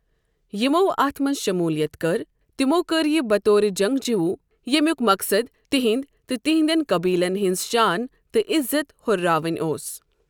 یمو اتھ منٛز شموٗلیت کٔر، تِمو كٔر یہِ بطور جنگجوٗ ییمِیِیُک مقصد تٕنٛدۍ تہٕ تِہندٮ۪ن قٔبیٖلن ہٕنٛز شان تہٕ عٮ۪زت ہُرراون اوس ۔